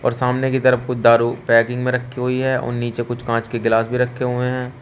सामने की तरफ कुछ दारू पैकिंग में रखी हुई है और नीचे कुछ कांच के ग्लास भी रखे हुए हैं।